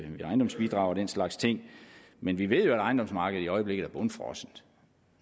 ved ejendomsbidrag og den slags ting men vi ved at ejendomsmarkedet i øjeblikket er bundfrossent